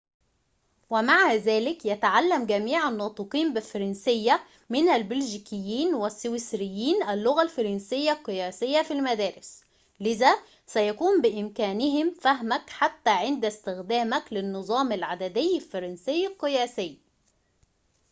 ومع ذلك يتعلّم جميع الناطقين بالفرنسيّة من البلجيكيين والسويسريين اللغة الفرنسيّة القياسيّة في المدارس لذا سيكون بإمكانهم فهمك حتى عند استخدامك للنظام العددي الفرنسيّ القياسي